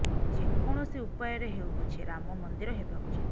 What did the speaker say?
ଯେକୌଣସି ଉପାୟରେ ହେଉ ପଛେ ରାମ ମନ୍ଦିର ହେବା ଉଚିତ